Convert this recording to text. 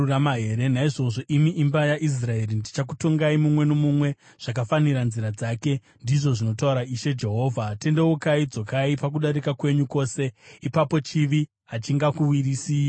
“Naizvozvo, imi imba yaIsraeri, ndichakutongai, mumwe nomumwe zvakafanira nzira dzake, ndizvo zvinotaura Ishe Jehovha. Tendeukai! Dzokai pakudarika kwenyu kwose; ipapo chivi hachingakuwisirei pasi.